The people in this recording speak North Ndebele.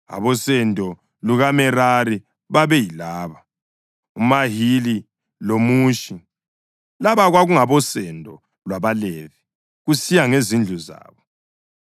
Abosendo lukaMerari babeyilaba: uMahili loMushi. Laba kwakungabosendo lwabaLevi, kusiya ngezindlu zabo.